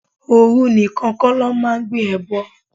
Ooru nìkan kó lọ máa ń gbé ẹbọ.